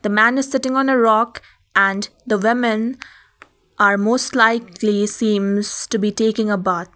the man is sitting on a rock and the women are most likely seems to be taking a bath.